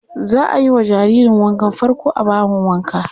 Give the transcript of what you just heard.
Za a yi wa jaririrn wankan farko a bahon wanka.